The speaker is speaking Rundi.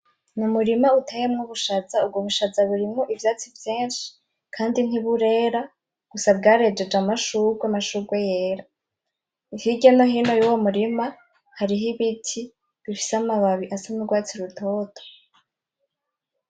Ni umurima utewemwo ubushaza , ubwo bushaza burimwo ivyatsi vyinshi kandi ntiburera gusa bwarejeje amashurwe , amashurwe yera , hirya no hino yuwo murima hariho ibiti bifise amababi asa n'urwatsi rutoto .